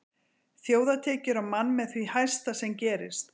Þjóðartekjur á mann með því hæsta sem gerist.